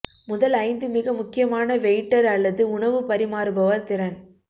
முதல் ஐந்து மிக முக்கியமான வெயிட்டர் அல்லது உணவு பரிமாறுபவர் திறன்